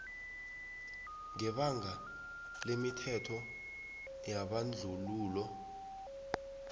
ngebanga lemithetho yebandlululo